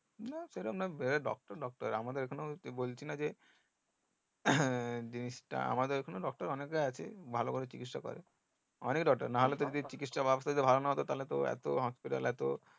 না সেরম না যারা doctor doctor আমাদের এখানেও বলছিনা যে হ্যাঁ জিনিষটা আমাদের এখানেও doctor অনেকে আছে ভালো ভালো চিকিৎসা করে অনেক doctor নাহলে তো কি চিকিৎসা ব্যাবস্তা যদি ভালো না হতো তাহলে তো এত হাসপাতাল এত